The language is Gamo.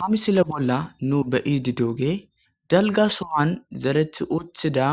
Haa misilee bolla nuu be'iddi de'iyogeyi daligga soowanni zeritti uttida